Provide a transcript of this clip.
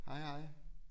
Hej hej